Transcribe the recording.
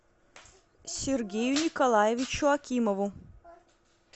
сергею николаевичу акимову